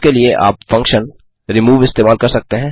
इसके लिए आप फंक्शन रिमूव इस्तेमाल कर सकते हैं